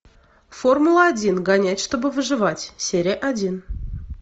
формула один гонять чтобы выживать серия один